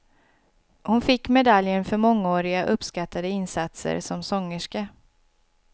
Hon fick medaljen för mångåriga uppskattade insatser som sångerska.